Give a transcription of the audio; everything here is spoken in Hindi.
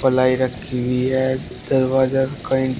प्लाई रखी हुई है दरवाजा कहीं--